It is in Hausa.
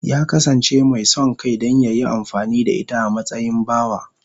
Ya kasance mai son kai don ya yi amfani da ita a matsayin bawa.